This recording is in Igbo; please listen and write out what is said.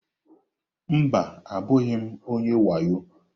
Mba, abụghị m onye wayo.